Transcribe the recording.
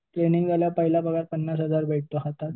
Training झाल्यावर पहिला पगार पन्नास हजार भेटतो हातात.